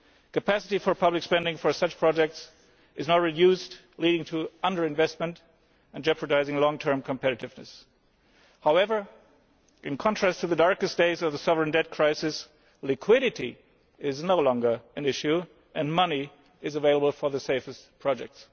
Capacity for public spending for such projects is now reduced, leading to underinvestment and jeopardising long term competitiveness. However, in contrast to the darkest days of the sovereign debt crisis, liquidity is no longer an issue, and money is available for the safest projects.